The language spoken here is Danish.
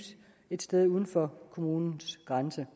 et sted uden for kommunens grænse